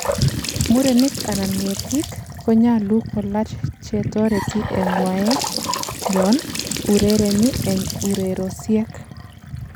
murenik anan ngetik konyalu kolach chetoreti en ngwaek yon urereni en ureriosiek